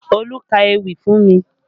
Olú ka ewì fún mi